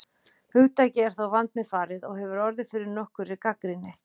Hugtakið er þó vandmeðfarið og hefur orðið fyrir nokkurri gagnrýni.